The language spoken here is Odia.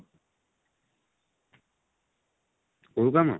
କଉ କାମ?